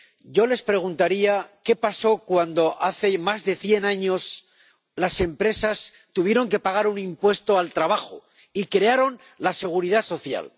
Yo les preguntaría ¿Qué pasó cuando hace más de cien años las empresas tuvieron que pagar un impuesto al trabajo y crearon la Seguridad Social?